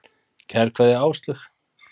Kær kveðja, Áslaug.